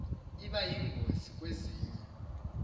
iba yingozi kwezinye